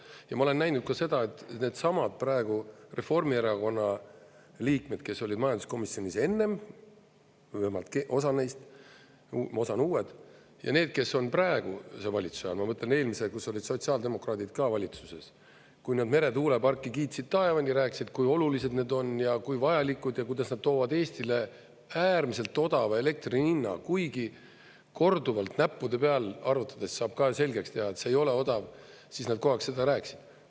Ja ma olen näinud ka seda, et needsamad praegu Reformierakonna liikmed, kes olid majanduskomisjonis enne, või vähemalt osa neist, osa on uued, ja need, kes on praeguse valitsuse all, ma mõtlen eelmise, kus olid sotsiaaldemokraadid ka valitsuses, kui need meretuuleparki kiitsid taevani, rääkisid, kui olulised need on ja kui vajalikud ja kuidas nad toovad Eestile äärmiselt odava elektri hinna, kuigi korduvalt näppude peal arvutades saab ka selgeks teha, et see ei ole odav, siis nad kogu aeg seda rääkisid.